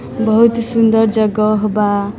बहुत ही सुंदर जगह बा।